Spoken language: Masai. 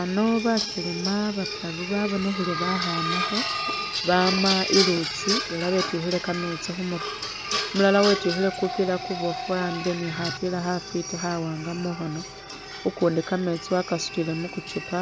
Ano bakelema bataru babonekhele bakhanakho bama i'lutsi ela betyukhile kametsi khumurwe, umulala wetyukhile kupila kuboofu wa'ambile ni khapila khafwiti khawaanga mukhono ukundi kametsi wakasutile mukuchupa